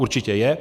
Určitě je.